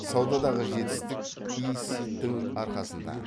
саудадағы жетістік ес дің арқасында